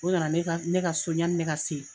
O nana ne ka ne ka so ɲani ne ka se ye.